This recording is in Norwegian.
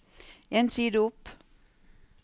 En side opp